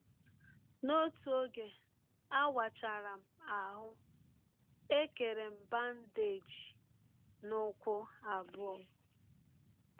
N’ọtụ ọge a wachara m ahụ́, e kere m bandeeji n’ụkwụ abụọ.